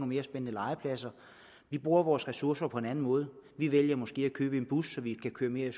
mere spændende legepladser vi bruger vores ressourcer på en anden måde vi vælger måske at købe en bus så vi kan køre mere i